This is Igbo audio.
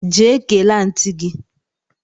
Jee kelee Aunty gi!